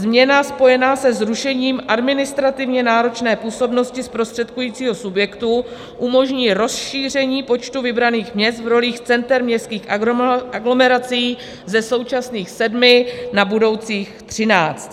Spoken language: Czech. Změna spojená se zrušením administrativně náročné působnosti zprostředkujícího subjektu umožní rozšíření počtu vybraných měst v rolích center městských aglomerací ze současných sedmi na budoucích třináct.